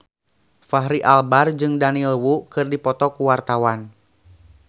Fachri Albar jeung Daniel Wu keur dipoto ku wartawan